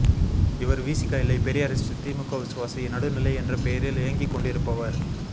இவர் வி்சி்க இல்லை பெரியாரிஸ்ட் திமுக விசுவாசி நடுநிலை என்ற பெயரில் இயங்கிக்கொண்டிருப்பவர்